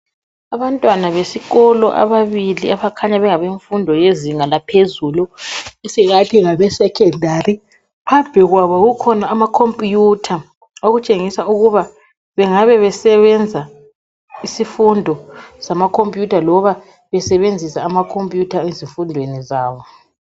Abantwana besikolo ababili abakhanya bengabe mfundo yezinga laphezulu esingathi ngabe secondary. Phambi kwabo kukhona amakhompuyutha okutshengisa ukuba bengabe besebenza isifundo samakhompuyutha loba besebenzisa amakhompuyutha ezifundweni zabo.